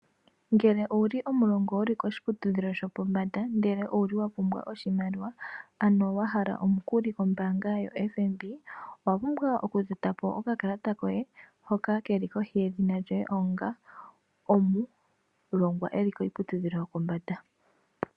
Ngele owuli omulongwa wuli koshiputudhilo shopombanda ndele owuli wapumbwa oshimaliwa wahala omukuli kombaanga yo FNB owapumbwa oku totapo okakalata koye hoka keli kohi yedhina lyoye onga omulongwa eli kiiputudhilo yopombanda.